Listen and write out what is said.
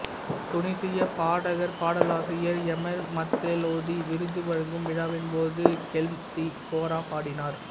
தூனிசிய பாடகர்பாடலாசிரியர் Emel Mathlouthi விருது வழங்கும் விழாவின் போது கெல்ம்தி கோரா பாடினார்